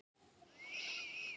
Man nokkur eftir því lengur?